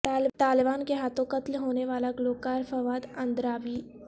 طالبان کے ہاتھوں قتل ہونے والا گلوکار فواد اندرابی